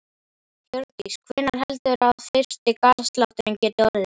Hjördís: Hvenær heldurðu að fyrsti garðslátturinn geti orðið?